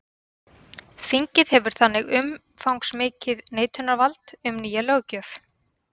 Þingið hefur þannig umfangsmikið neitunarvald um nýja löggjöf.